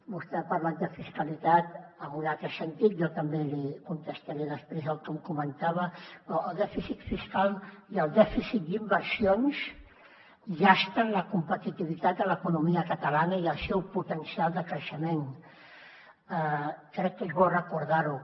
vostè ha parlat de fiscalitat en un altre sentit jo també li contestaré després el que em comentava però el dèficit fiscal i el dèficit d’inversions llasten la competitivitat de l’economia catalana i el seu potencial de creixement crec que és bo recordar ho